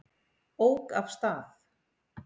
Ók af stað